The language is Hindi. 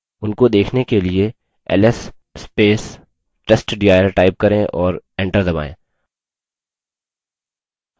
उनको देखने के लिए ls testdir type करें और enter दबायें